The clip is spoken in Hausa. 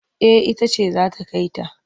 Eh ita ce za ta kai ta.